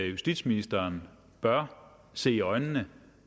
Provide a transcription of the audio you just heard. justitsministeren bør se i øjnene